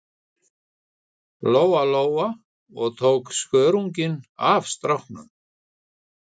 Lóa Lóa og tók skörunginn af stráknum.